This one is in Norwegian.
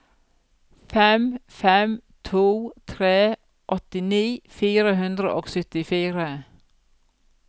fem fem to tre åttini fire hundre og syttifire